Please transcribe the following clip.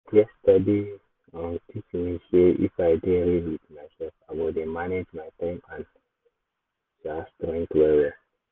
yesterday um teach me sey if i dey real with myself i go dey manage my time and um strength well well